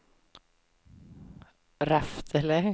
Reftele